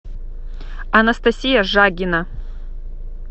анастасия жагина